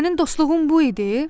Sənin dostluğun bu idi?"